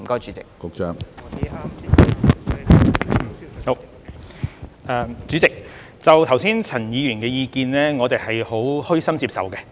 主席，剛才陳議員的意見，我們虛心接受。